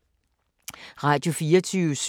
Radio24syv